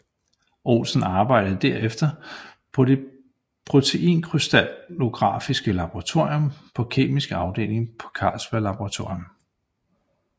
Olsen arbejdede derefter på det proteinkrystallografiske laboratorium på Kemisk Afdeling på Carlsberg Laboratorium